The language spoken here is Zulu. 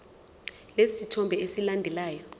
lesi sithombe esilandelayo